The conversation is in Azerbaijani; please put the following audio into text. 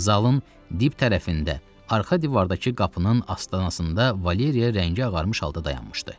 Zalın dip tərəfində, arxa divardakı qapının astanasında Valeriya rəngi ağarmış halda dayanmışdı.